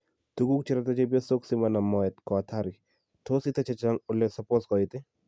Tuguk cherate chepyosok simanam moet ko hatari, tos itee chechang ole supos koit?